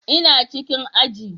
Ina cikin aji